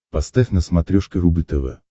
поставь на смотрешке рубль тв